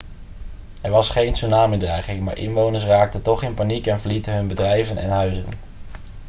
er was geen tsunami-dreiging maar inwoners raakten toch in paniek en verlieten hun bedrijven en huizen